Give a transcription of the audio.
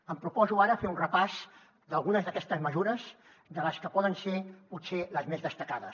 em proposo ara fer un repàs d’algunes d’aquestes mesures de les que poden ser potser les més destacades